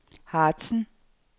Harzen